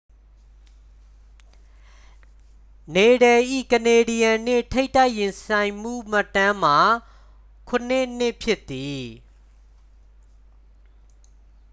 နေဒယ်၏ ကနေဒီးယန်း နှင့် ထိပ်တိုက်ရင်ဆိုင်မှုမှတ်တမ်းမှာ 7-2 ဖြစ်သည်